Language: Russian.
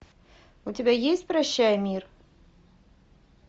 у тебя есть прощай мир